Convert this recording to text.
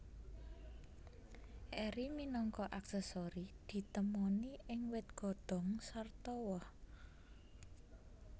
Eri minangka aksesori ditemoni ing wit godhong sarta woh